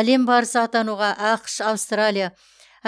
әлем барысы атануға ақш аустралия